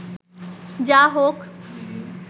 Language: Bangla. যা হোক